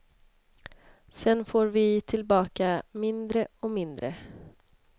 Sedan får vi tillbaka mindre och mindre.